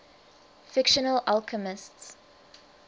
fictional alchemists